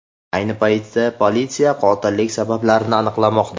Ayni paytda politsiya qotillik sabablarini aniqlamoqda.